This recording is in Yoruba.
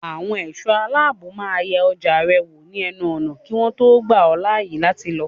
Àwọn ẹ̀ṣọ́ aláàbò máa yẹ ọjà rẹ wò ní ẹnu ọ̀nà kí wọ́n tó gbà ọ́ láàyè láti lọ.